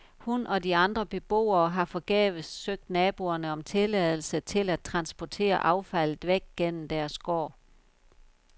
Hun og de andre beboere har forgæves søgt naboerne om tilladelse til at transportere affaldet væk gennem deres gård.